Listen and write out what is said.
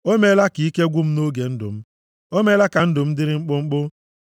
O meela ka ike gwụ m nʼoge ndụ m; o meela ka ndụ m dịrị mkpụmkpụ.